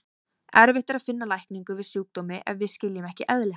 Erfitt er að finna lækningu við sjúkdómi ef við skiljum ekki eðli hans.